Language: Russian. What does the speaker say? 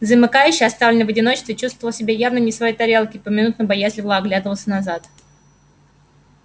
замыкающий оставленный в одиночестве чувствовал себя явно не в своей тарелке и поминутно боязливо оглядывался назад